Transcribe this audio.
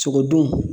Sogo dun